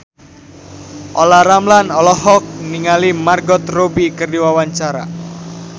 Olla Ramlan olohok ningali Margot Robbie keur diwawancara